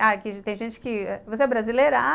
Ah, aqui tem gente que... Você é brasileira? ah